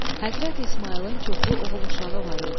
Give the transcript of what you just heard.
Həzrəti İsmayılın çoxlu oğul uşağı var idi.